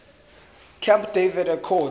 camp david accords